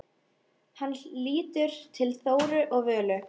Hann lítur til Þóru og Völu.